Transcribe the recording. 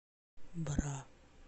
бра